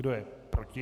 Kdo je proti?